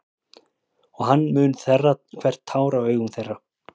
Og hann mun þerra hvert tár af augum þeirra.